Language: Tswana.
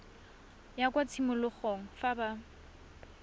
ya kwa tshimologong fa ba